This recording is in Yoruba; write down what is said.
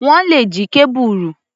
Wọ́n le jí kábùrù.